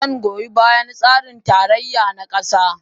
Zan goyi bayan tsarin tarayya na gaskiya